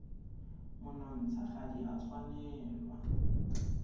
monontsha ga di a tshwanela